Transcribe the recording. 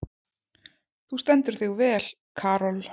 Þú stendur þig vel, Karol!